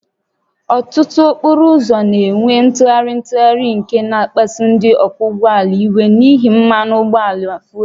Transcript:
Ọtụtụ okporo ụzọ na-enwe ntụgharị ntụgharị nke na-akpasu ndị ọkwọ ụgbọala iwe n'ihi mmanụ ụgbọala fuel